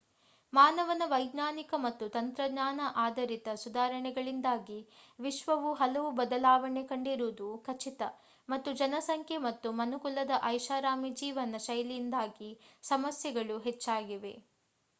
ಮಾನವನ ವೈಜ್ಞಾನಿಕ ಮತ್ತು ತಂತ್ರಜ್ಞಾನ ಆಧರಿತ ಸುಧಾರಣೆಗಳಿಂದಾಗಿ ವಿಶ್ವವು ಹಲವು ಬದಲಾವಣೆ ಕಂಡಿರುವುದು ಖಚಿತ ಮತ್ತು ಜನಸಂಖ್ಯೆ ಮತ್ತು ಮನುಕುಲದ ಐಷಾರಾಮಿ ಜೀವನ ಶೈಲಿಯಿಂದಾಗಿ ಸಮಸ್ಯೆಗಳು ಹೆಚ್ಚಾಗಿವೆ